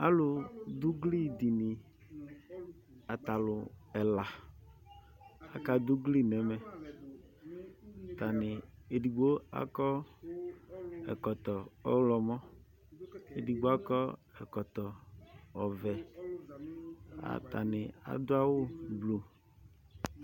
alʋdʋ ʋgli dini atalʋ ɛla akadʋ ʋgli nɛmɛ atani edigbo akɔ ɛkɔtɔ ɔɣlɔmɔ edigbo akɔ ɛkɔtɔ ɔɣlɔmɔ atani adʋ awʋ ʋblʋ